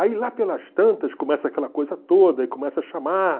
Aí lá pelas tantas começa aquela coisa toda, e começa a chamar.